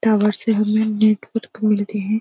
Tower से हमें network मिलते हैं।